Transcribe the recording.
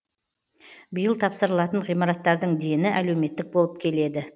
биыл тапсырылатын ғимараттардың дені әлеуметтік болып келеді